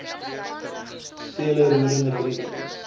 vele roerende briewe